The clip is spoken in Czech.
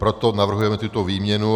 Proto navrhujeme tuto výměnu.